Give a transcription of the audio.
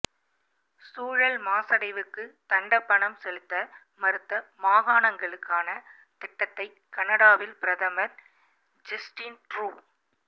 சூழல் மாசடைவுக்கு தண்டப்பணம் செலுத்த மறுத்த மாகாணங்களுக்கான திட்டத்தை கனடாவின் பிரதமர் ஜெஸ்டின் ட்ரூ